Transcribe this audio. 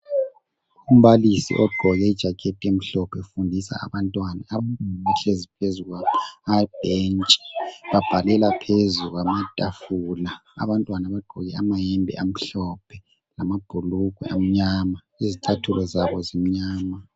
Umbalisi ogqoke ijacket elimhlophe ufundisa abantwana abahlezi phezu kwamabhentshi babhalela phezulu kwamatafula. Abantwana bagqoke amayembe amhlophe lamabhulugwe amnyama izicathulo zabo zimnyama.